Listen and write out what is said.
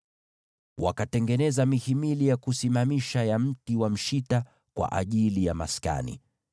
Wakatengeneza mihimili ya kusimamisha ya mti wa mshita kwa ajili ya maskani.